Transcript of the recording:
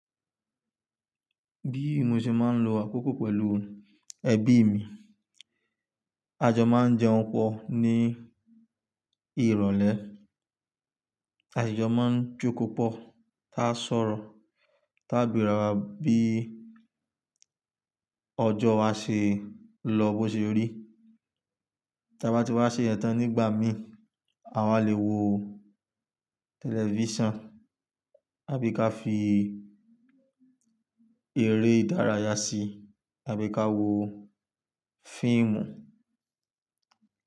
Bí mo ṣe máa ń lo àkókò pẹ̀lú ẹbí mi, àjọ máa ń jẹun pọ̀ ní ìrọ̀lẹ́, àjọjọ máa ń jókòó pọ̀, tá sọ̀rọ̀, tá bira wá bí ọjọ́ wa ṣe lọ bó ṣe rí. Tí a bá ti wá ṣe yentàn nígbà mí, àwa le wo tẹlifíṣàn àbí ká fi eré ìdárayá si àbí ká wo fíìmù.